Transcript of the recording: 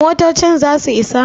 motocin za su Isa?